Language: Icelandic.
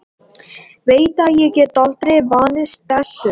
Veit að ég get aldrei vanist þessu.